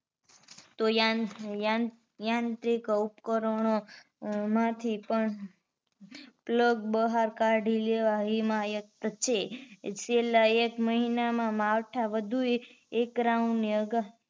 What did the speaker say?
તો યાન યાંત્રિક ઉપકરણો માંથી પણ plug બહાર કાઢી લેવા હિમાયત છે છેલ્લા એક મહિના માં માવઠા વધુ એક round ની આગાહી